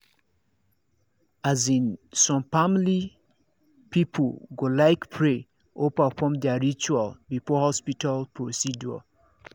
as in some family people go like pray or perfom their ritual before hospital procedure